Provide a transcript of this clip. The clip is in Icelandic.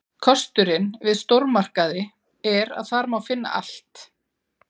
Kosturinn við stórmarkaði er að þar má finna allt.